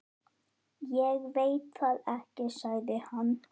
Ég veit það ekki, sagði hann.